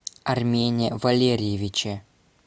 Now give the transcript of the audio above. армене валерьевиче